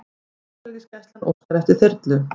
Landhelgisgæslan óskar eftir þyrlu